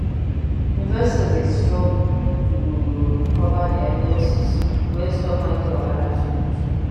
investors dey struggle to recover their losses when stock market wahala too much.